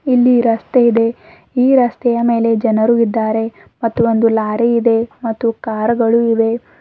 ಇಲ್ಲಿ ರಸ್ತೆ ಇದೆ ಈ ರಸ್ತೆಯ ಮೇಲೆ ಜನರು ಇದ್ದಾರೆ ಮತ್ತು ಒಂದು ಲಾರಿ ಇದೆ ಮತ್ತು ಕಾರ್ ಗಳು ಇವೆ.